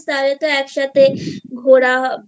তাহলে তো একসাথে ঘোরা